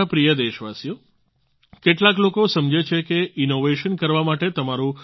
મારા પ્રિય દેશવાસીઓ કેટલાક લોકો સમજે છે કે ઈનોવેશન કરવા માટે તમારું